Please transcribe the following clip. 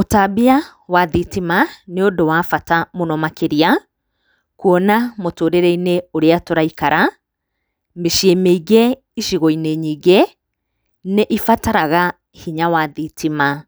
Ũtambia wa thitima nĩ ũndũ wa bata mũno makĩria, kuona mũtũrĩre-inĩ ũrĩa tũraikara, mĩciĩ mĩingĩ icigo-inĩ nyingĩ, nĩ ibataraga hinya wa thitima,